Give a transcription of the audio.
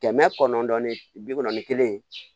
Kɛmɛ kɔnɔntɔn ni bi kɔnɔn ni kelen